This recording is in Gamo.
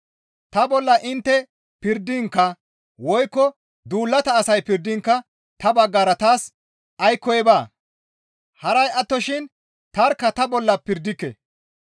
Ta bolla intte pirdinkka woykko duulata asay pirdinkka ta baggara taas aykkoy baa; haray attoshin tarkka ta bolla pirdike.